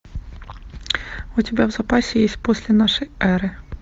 у тебя в запасе есть после нашей эры